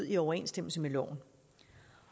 i overensstemmelse med loven